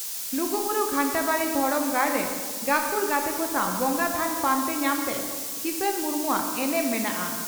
ᱞᱩᱜᱩᱵᱩᱨᱩ ᱜᱷᱟᱱᱴᱟᱵᱟᱲᱤ ᱫᱷᱚᱨᱚᱢ ᱜᱟᱲᱨᱮ ᱜᱟᱹᱠᱷᱩᱲ ᱜᱟᱛᱮ ᱠᱚ ᱥᱟᱣ ᱵᱚᱸᱜᱟ ᱛᱷᱟᱱ ᱯᱟᱱᱛᱮ ᱧᱟᱢᱨᱮ ᱠᱤᱥᱟᱱ ᱢᱩᱨᱢᱩᱣᱟᱜ ᱮᱱᱮᱢ ᱢᱮᱱᱟᱜᱼᱟ ᱾